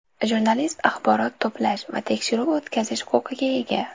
Jurnalist axborot to‘plash va tekshiruv o‘tkazish huquqiga ega.